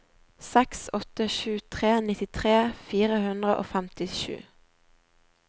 seks åtte sju tre nittitre fire hundre og femtisju